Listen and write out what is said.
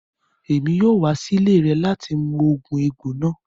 Emi o wa si ile rẹ lati mu oogun egbo naa